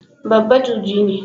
Babba juji ne.